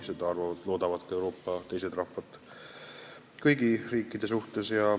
Seda loodavad ka Euroopa teised rahvad kõikidelt riikidelt.